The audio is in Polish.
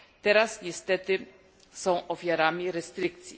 Teraz niestety są ofiarami restrykcji.